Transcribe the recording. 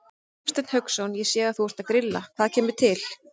Hafsteinn Hauksson: Ég sé að þú ert að grilla, hvað kemur til?